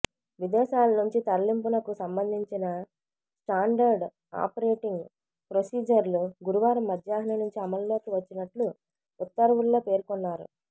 విదేశాల నుంచి తరలింపునకు సంబంధించిన స్టాండర్డ్ ఆపరేటింగ్ ప్రొసీజర్లు గురువారం మధ్యాహ్నం నుంచి అమల్లోకి వచ్చినట్లు ఉత్తర్వుల్లో పేర్కొన్నారు